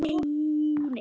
Hann verður.